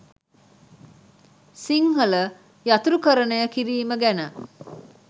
සිංහල යතුරුකරණය කිරීම ගැන